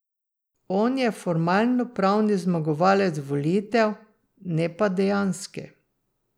On je formalno pravni zmagovalec volitev, ne pa dejanski.